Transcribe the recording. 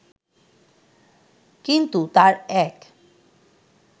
কিন্তু তাঁর এক